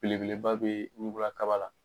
Belebeleba bɛ kaba la.